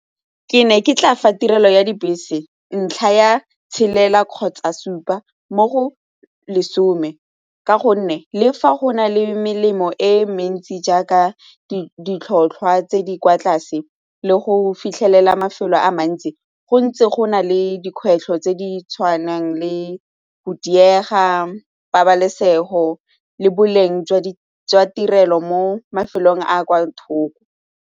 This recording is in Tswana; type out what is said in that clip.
Ke ne ke tla fa tirelo ya dibese ntlha ya tshelela kgotsa supa mo go lesome ka gonne le fa go nale melemo e mentsi jaaka ditlhotlhwa tse di kwa tlase le go fitlhelela mafelo a mantsi go ntse go na le dikgwetlho tse di tshwanang le go diega, pabalesego le boleng jwa tirelo mo mafelong a a kwa thoko.